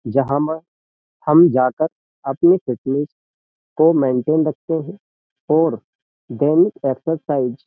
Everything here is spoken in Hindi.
जहां म हम जाकर अपनी फिटनेस को मेनटेन रखते हैं और दैनिक एक्सरसाइज --